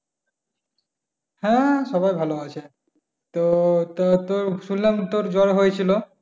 হ্যাঁ সবাই ভালো আছে। তো তুর শুনলাম তুর জ্বর হইছিল?